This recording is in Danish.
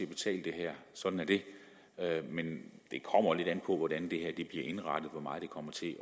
betale det her sådan er det men det kommer lidt an på hvordan det bliver indrettet hvor meget det kommer til at